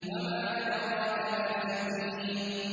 وَمَا أَدْرَاكَ مَا سِجِّينٌ